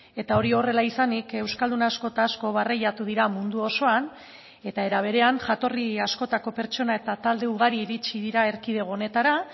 eta hori horrela izanik euskaldun asko eta asko barreiatu dira mundu osoan eta era berean jatorri askotako pertsona eta talde ugari iritsi dira erkidego honetara